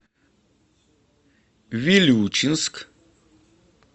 вилючинск